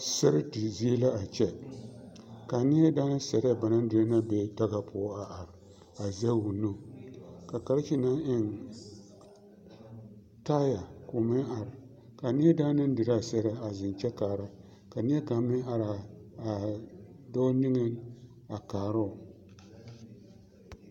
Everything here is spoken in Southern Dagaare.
Sɛredi zie la a kyɛ ka a neɛ na daana sɛrɛɛ ba naŋ dire be daga poɔ are a zɛge o nu ka karekye naŋ eŋ taya k'o meŋ are ka a neɛ na daana naŋ dire a sɛrɛɛ zeŋ kyɛ kaara ka neɛkaŋ meŋ are a dɔɔ niŋeŋ a kaaroo